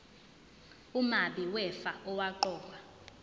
umabi wefa owaqokwa